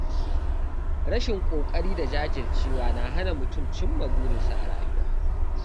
Rashin ƙoƙari da jajircewa na hana mutum cimma burinsa a rayuwa.